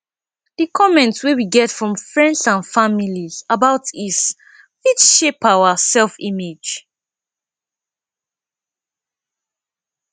di comment wey we get from friends and family about is fit shape our selfimage